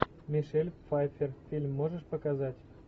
мишель пфайффер фильм можешь показать